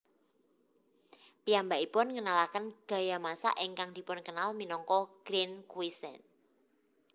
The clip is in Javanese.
Piyambakipun ngenalaken gaya masak ingkang dipunkenal minangka grande cuisine